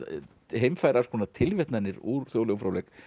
heimfæra alls konar úr þjóðlegum fróðleik